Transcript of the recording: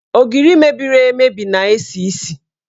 Ogiri mebiri emebi na-esi isi.